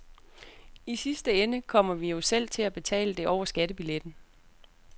I sidste ende kommer vi jo selv til at betale det over skattebilletten.